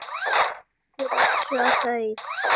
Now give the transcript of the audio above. Nei, ekki ryksuga þau.